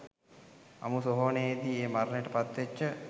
අමුසොහොනෙදි ඒ මරණයට පත්වෙච්ච